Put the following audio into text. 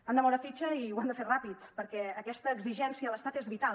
han de moure fitxa i ho han de fer ràpid perquè aquesta exigència a l’estat és vital